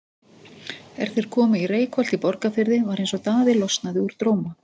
Er þeir komu í Reykholt í Borgarfirði var eins og Daði losnaði úr dróma.